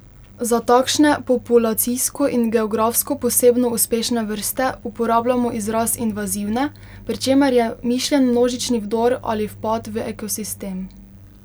Za takšne populacijsko in geografsko posebno uspešne vrste uporabljamo izraz invazivne, pri čemer je mišljen množičen vdor ali vpad v ekosistem.